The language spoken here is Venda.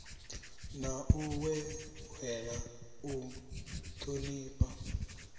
na u ṅweṅwela u ṱhonifha